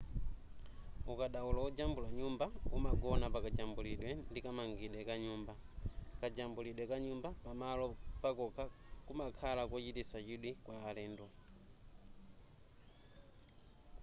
ukadaulo ojambula nyumba umagona pakajambulidwe ndi kamangidwe ka nyumba kajambulidwe ka nyumba pamalo pakokha kumakhala kochititsa chidwi kwa alendo